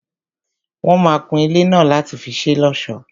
Wọ́n máa kun ilé náà láti fi ṣé l'ọ́sọ̀.